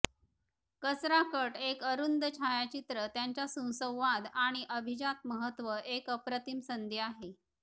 कचरा कट एक अरुंद छायचित्र त्याच्या सुसंवाद आणि अभिजात महत्व एक अप्रतिम संधी आहे